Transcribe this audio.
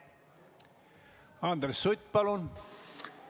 Andres Sutt, palun!